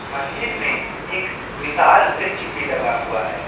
मंदिर में एक विशाल वृक्ष भी लगा हुआ है।